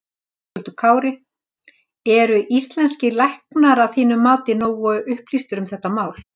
Höskuldur Kári: Eru íslenskir læknar að þínu mati nógu upplýstir um þetta mál?